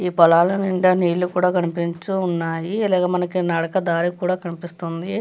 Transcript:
ఈ పొలాలు నిండా నీళ్ళు కనిపిస్తూ ఉన్నాయి అలాగే మనకి నడక దారి కూడా కనిపిస్తుంది.